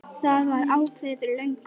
Það var ákveðið fyrir löngu.